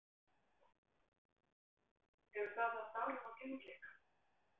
Hefur það haft áhrif á gengi ykkar?